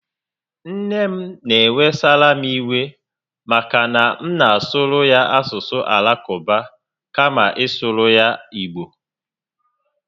Nne m n'ewesara m iwe maka na a na m asụrụ ya asụsụ Alakụba kama ị sụrụ ya Igbo